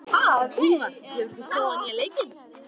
Úlfar, hefur þú prófað nýja leikinn?